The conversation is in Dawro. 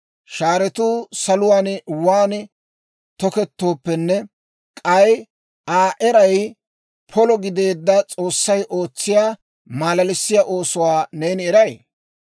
Shaaratuu saluwaan waan tookettooppenne k'ay Aa eray polo gideedda S'oossay ootsiyaa malalissiyaa oosuwaa neeni eray?